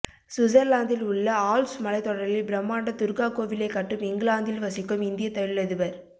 சுவிட்சர்லாந்தில் உள்ள ஆல்ப்ஸ் மலைத்தொடரில் பிரமாண்ட துர்கா கோவிலை கட்டும் இங்கிலாந்தில் வசிக்கும் இந்திய தொழிலதிபர்